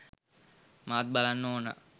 මාත් බලන්න ඕනා